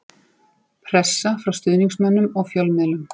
Pressa frá stuðningsmönnum og fjölmiðlum.